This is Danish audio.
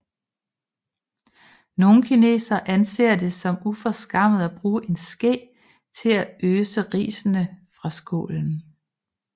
Nogle kinesere anser det som uforskammet at bruge en ske til at øse risene fra skålen